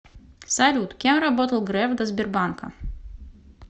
салют кем работал греф до сбербанка